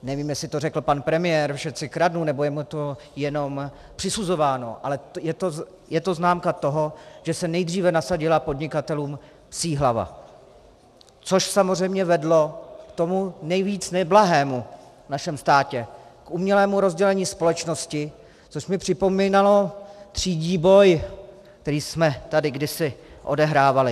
Nevím, jestli to řekl pan premiér, všetci kradnú, nebo je mu to jenom přisuzováno, ale je to známka toho, že se nejdříve nasadila podnikatelům psí hlava, což samozřejmě vedlo k tomu nejvíc neblahému v našem státě - k umělému rozdělení společnosti, což mi připomínalo třídní boj, který jsme tady kdysi odehrávali.